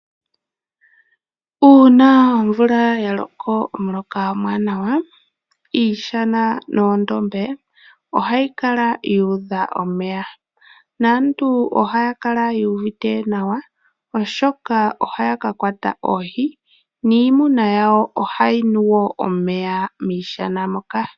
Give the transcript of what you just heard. Uuna omvula ya loko omuloka omwaanawa, iishana noondombe ohayi kala yu udha omeya. Naantu ohaya kala yu uvite nawa, oshoka ohaya ka kwata oohi niimuna yawo ohayi nu wo omeya miishana moka.